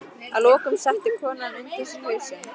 Að lokum setti konan undir sig hausinn.